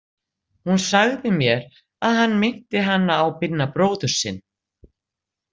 Hún sagði mér að hann minnti hana á Binna bróður sinn.